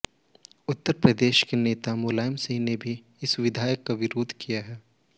उत्तर प्रदेश के नेता मुलायम सिंह ने भी इस विधेयक का विरोध किया है